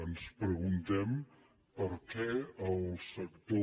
ens preguntem per què el sector